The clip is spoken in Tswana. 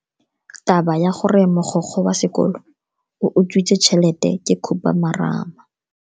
Taba ya gore mogokgo wa sekolo o utswitse tšhelete ke khupamarama.